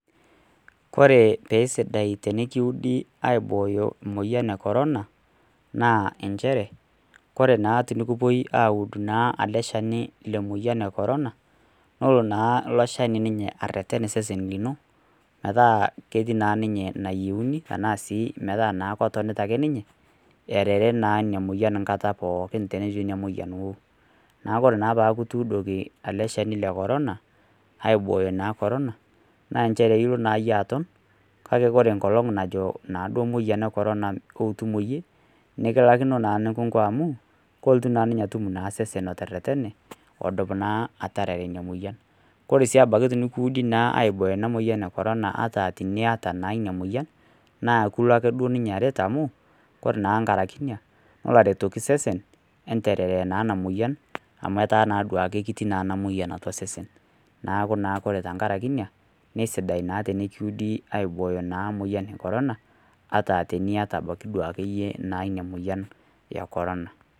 Ore paa sidai tenikiudi aibooyo emoyian ecorona ,naa enchere kore tenikipuo aud naa lemeyian ecorona, nelo naa ilo shani areten sesen lino metaa ketii metaa ketonita naa ake ninye arare ina moyian nkata pookin tenejo ina moyian wou. Neeku ore pee kituudoki naa ele shani lecorona aibooyo naa corona, naa kelo naa aton ,kake ore naa nkolongi najo corona ootum iyie, nikilaikino nikinkunaniko amu ,kelotu naa ninye atum sesen oteretene odup naa ataarare ina moyianOre sii abaiki tenikiudi aibooyo ina moyian ata naa iyata ina moyian, naa kilo duake ninye aret amu ore nkaraki ina ,nelo aretoki sesen ataarare naa ina moyian, amu etaa naa duake kiti ena moyian atua sesen. neeku naa ore tenakaraki ina nasidai naa tenikiudi aibooyo naa moyian e corona ,ata teniyata abaiki duake yie ina moyian ecorona.